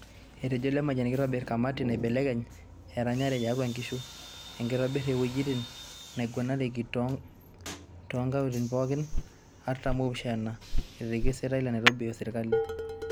Etejo Lemayian keitobir kamati naibelekeny eranyare tiatua inkishu, ekitobir iwuejitin naiguranieki too nnkaontini pookin artam opishana eretki osenetai le Nairobi o serkali.